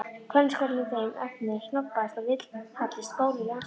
Kvennaskólinn í þeim efnum snobbaðasti og vilhallasti skóli landsins.